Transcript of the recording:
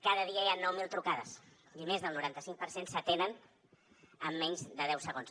cada dia hi ha nou mil trucades i més del noranta cinc per cent s’atenen en menys de deu segons